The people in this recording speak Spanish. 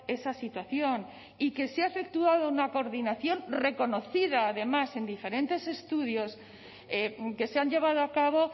esa situación y que se ha efectuado una coordinación reconocida además en diferentes estudios que se han llevado a cabo